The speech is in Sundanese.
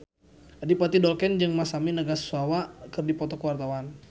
Adipati Dolken jeung Masami Nagasawa keur dipoto ku wartawan